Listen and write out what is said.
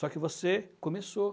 Só que você começou.